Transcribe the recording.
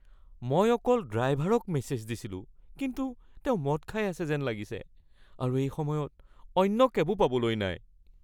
মই অকল ড্ৰাইভাৰক মেছেজ দিছিলো কিন্তু তেওঁ মদ খাই আছে যেন লাগিছে আৰু এই সময়ত অন্য কেবো পাবলৈ নাই।